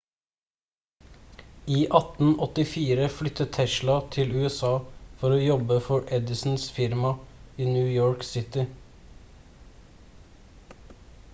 i 1884 flyttet tesla til usa for å jobber for edisons firma i new york city